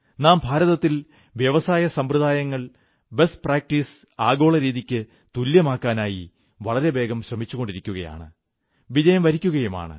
നാം ഭാരതത്തിൽ വ്യവസായസമ്പ്രദായങ്ങൾ ബെസ്റ്റ് പ്രാക്ടീസസ് ആഗോള രീതിയ്ക്കു തുല്യമാക്കാനായി വളരെവേഗം ശ്രമിച്ചുകൊണ്ടിരിക്കുകയാണ് വിജയം വരിക്കയുമാണ്